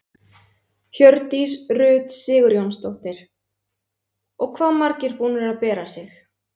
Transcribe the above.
Hjördís Rut Sigurjónsdóttir: Og hvað margir búnir að bera sig?